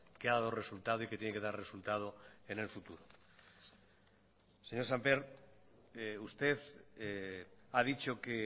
que ha dado resultado y que tiene que dar resultado en el futuro señor sémper usted ha dicho que